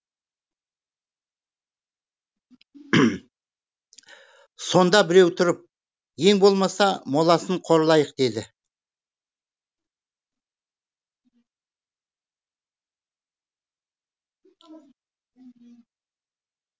сонда біреуі тұрып ең болмаса моласын қорлайық дейді